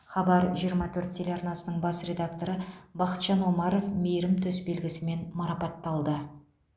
хабар жиырма төрт телеарнасының бас редакторы бақытжан омаров мейірім төсбелгісімен марапатталды